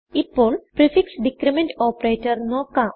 ഇപ്പോൾ prefix decrement operatorനോക്കാം